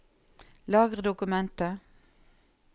Lagre dokumentet